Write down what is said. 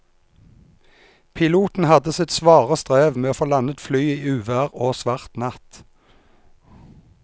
Piloten hadde sitt svare strev med å få landet flyet i uvær og svart natt.